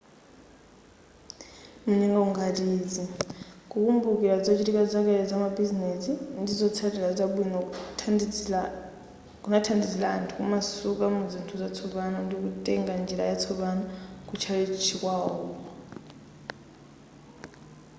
munyengo ngati izi kukumbukira zochitika zakale zamabizinesi ndi zotsatira zabwino kunathandizira anthu kumasuka kuzinthu zatsopano ndikutenga njira yatsopano kutchalichi kwawoko